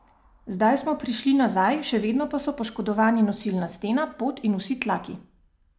Zdaj smo prišli nazaj, še vedno pa so poškodovani nosilna stena, pod in vsi tlaki.